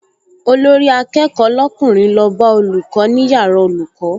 Olórí-akẹ́kọ̀ọ́ lọ́kùnrin lọ bá olùkọ́ ní yàrá olùkọ́